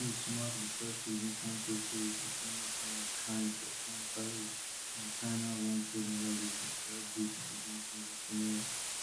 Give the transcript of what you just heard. dis mark di first significant reprieve of any kind kind for trump tariffs on china one trade analyst describe dis as a gamechanger scenario